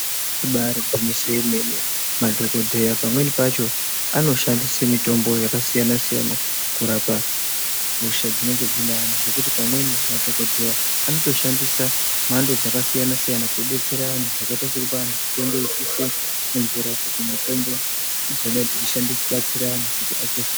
Ibari gwinyiso remene madhogodheya pamweni pacho anoshandise mitombo yakasiya-siyana kurapa hosha dzinenge dzine antu. Zvekuti pamweni madhogodheya anotoshandisa mhando dzakasiyana-siyana, kubetsera antu zvakaita sekupa antu mitombo yekuisa mumvura kuti mitombo idzona idzo dzibatsire antu.